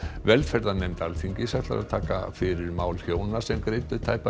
velferðarnefnd Alþingis ætlar að taka fyrir mál hjóna sem greiddu tæpa